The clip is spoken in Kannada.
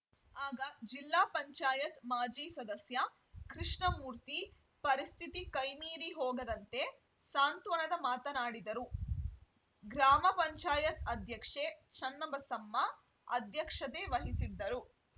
ಆಗ ಜಿಲ್ಲಾ ಪಂಚಾಯತ್ ಮಾಜಿ ಸದಸ್ಯ ಕೃಷ್ಣಮೂರ್ತಿ ಪರಿಸ್ಥಿತಿ ಕೈಮೀರಿ ಹೋಗದಂತೆ ಸಾಂತ್ವನದ ಮಾತನಾಡಿದರು ಗ್ರಾಮ ಪಂಚಾಯತ್ ಅಧ್ಯಕ್ಷೆ ಚನ್ನಬಸಮ್ಮ ಅಧ್ಯಕ್ಷತೆ ವಹಿಸಿದ್ದರು